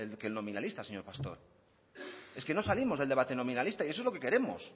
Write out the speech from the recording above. nominalista señor pastor es que no salimos del debate nominalista y eso es lo que queremos